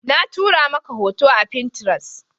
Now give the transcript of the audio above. Na tura maka hoto a fintiras